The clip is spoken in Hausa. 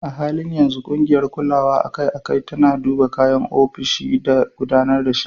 A halin yanzu, ƙungiyar kulawa akai-akai tana duba kayan ofishi da gudanar shi.